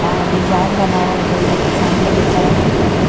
आ डिज़ाइन बनावल गइल बाटे सामने के तरफ में एकरा पे।